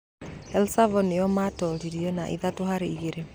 El Sav nĩo maatooririe na ithatũ harĩ igĩrĩ.